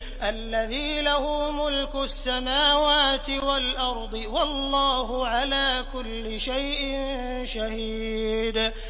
الَّذِي لَهُ مُلْكُ السَّمَاوَاتِ وَالْأَرْضِ ۚ وَاللَّهُ عَلَىٰ كُلِّ شَيْءٍ شَهِيدٌ